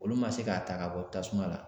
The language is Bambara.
Olu ma se k'a ta ka bɔ tasuma la